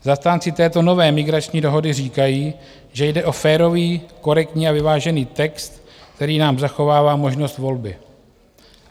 Zastánci této nové migrační dohody říkají, že jde o férový, korektní a vyvážený text, který nám zachovává možnost volby.